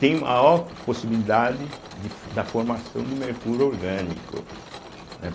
tem maior possibilidade de fo da formação de mercúrio orgânico, né.